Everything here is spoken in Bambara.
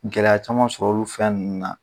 Gɛlɛya caman sɔrɔ olu fɛn ninnu na.